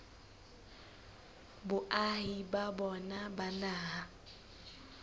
boahi ba bona ba naha